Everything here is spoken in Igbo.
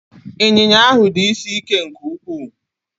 Ịnyịnya ahụ dị isi ike nke ukwuu